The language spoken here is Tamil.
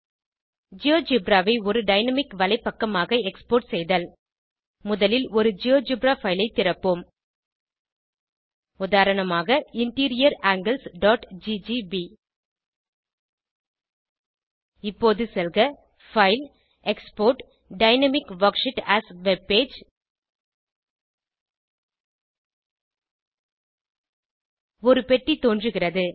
ஜியோஜெப்ரா ஐ ஒரு டைனாமிக் வலைப்பக்கமாக எக்ஸ்போர்ட் செய்தல் முதலில் ஒரு ஜியோஜெப்ரா பைல் ஐ திறப்போம் உதாரணமாக இன்டீரியர் anglesஜிஜிபி இப்போது செல்க பைல் எக்ஸ்போர்ட் ஜிடிஜிடி டைனாமிக் வர்க்ஷீட் ஏஎஸ் வெப்பேஜ் ஒரு பெட்டி தோன்றுகிறது